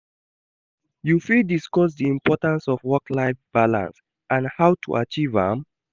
You fit discuss di importance of work-life balance and how to achieve am.